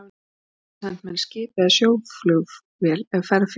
Lilla yrði send með næsta skipi eða sjóflugvél ef ferð félli.